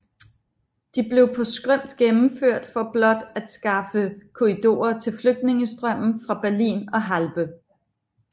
De blev på skrømt gennemført for blot at skaffe korridorer til flygtningestrømmen fra Berlin og Halbe